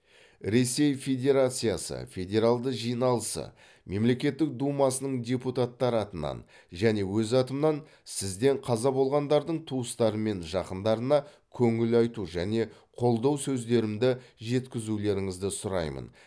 ресей федерациясы федералды жиналысы мемлекеттік думасының депутаттары атынан және өз атымнан сізден қаза болғандардың туыстары мен жақындарына көңіл айту және қолдау сөздерімді жеткізулеріңізді сұраймын